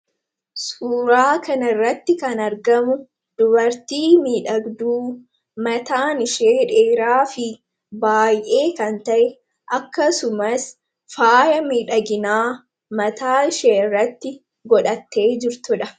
suuraa kan irratti kan argamu dubartii miidhagduu mataan ishee dheeraa fi baay'ee kan ta'e akkasumas faaya midhaginaa mataa ishee irratti godhattee jirtuudha